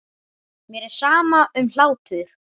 Mér er sama um hlátur.